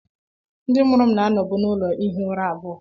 Ndị mụrụ m na-anọbu n'ụlọ ihi ụra abụọ